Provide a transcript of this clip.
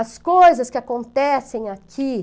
As coisas que acontecem aqui.